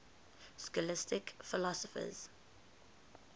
scholastic philosophers